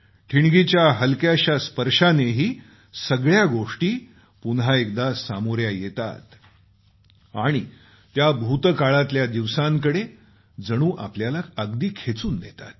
ठिणगीच्या हलक्याशा स्पर्शानेही सगळ्या गोष्टी पुन्हा एकदा सामोऱ्या येतात आणि त्या भूतकाळातल्या दिवसांकडे जणू आपल्याला अगदी खेचून नेतात